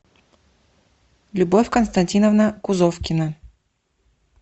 любовь константиновна кузовкина